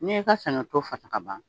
N'i y'i ka saɲɔto fasa ka ban